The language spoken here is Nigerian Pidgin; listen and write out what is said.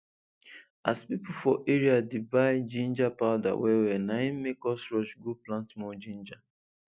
as people for area dey buy ginger powder well well na im make us rush go plant more ginger